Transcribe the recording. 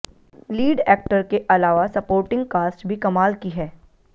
lead actor के अलावा supporting cast भी कमाल की है